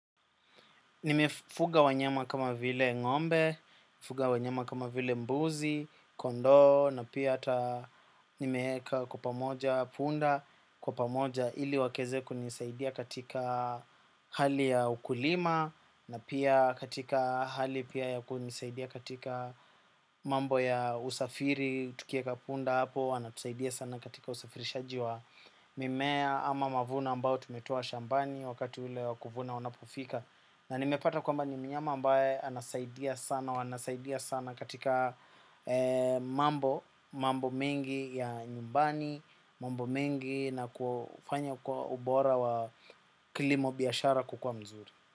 Nimefuga wanyema kama vile ngombe, nifuga wanyama kama vile mbuzi, kondo na pia ata nimeeka kwa pamoja punda. Kwa pamoja ili wakeze kunisaidia katika hali ya ukulima na pia katika hali pia ya kunisaidia katika mambo ya usafiri. Tukieka punda hapo, anatusaidia sana katika usafirishaji wa mimea ama mavuno ambao tumetoa shambani wakati ule wakuvuna unapofika. Na nimepata kwamba ni mnyama ambaye anasaidia sana katika mambo mengi ya nyumbani, mambo mengi na kufanya kwa ubora wa kilimo biyashara kukua mzuri.